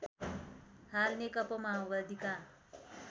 हाल नेकपा माओवादीका